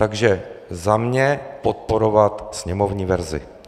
Takže za mě podporovat sněmovní verzi.